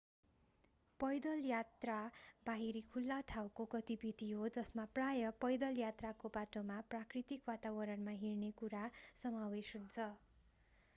पैदल यात्रा बाहिरी खुल्ला ठाउँको गतिविधि हो जसमा प्राय पैदल यात्राको बाटोमा प्राकृतिक वातावरणमा हिँड्ने कुरा समावेश हुन्छ